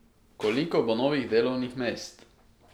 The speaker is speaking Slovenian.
Koliko bo novih delovnih mest?